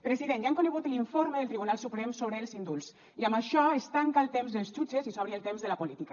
president ja han conegut l’informe del tribunal suprem sobre els indults i amb això es tanca el temps dels jutges i s’obre el temps de la política